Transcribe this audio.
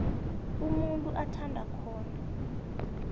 umuntu athanda khona